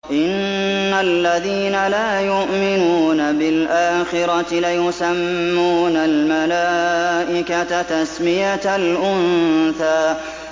إِنَّ الَّذِينَ لَا يُؤْمِنُونَ بِالْآخِرَةِ لَيُسَمُّونَ الْمَلَائِكَةَ تَسْمِيَةَ الْأُنثَىٰ